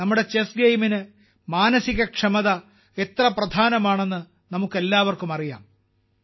നമ്മുടെ ചെസ് ഗെയിമിന് മാനസിക ക്ഷമത എത്ര പ്രധാനമാണെന്ന് നമുക്കെല്ലാവർക്കും അറിയാം